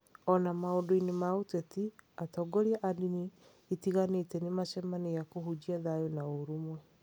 O na maũndũ-inĩ ma ũteti, atongoria a ndini itiganĩte nĩ macemanagia kũhunjia thayũ na ũrũmwe.